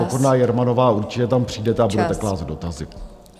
Pokorná Jermanová, určitě tam přijdete a budete klást dotazy.